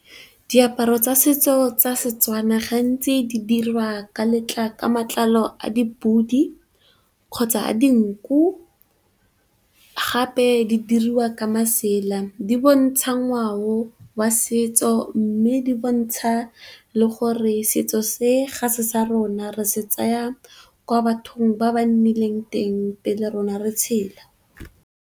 Diaparo tsa setso tsa setswana gantsi di dirwa ka matlalo a di pudi kgotsa a dinku, gape di diriwa ka masela. Di bontsha ngwao wa setso mme di bontsha le gore setso se ga se sa rona re se tsaya kwa bathong ba ba nnileng teng pele rona re tshela.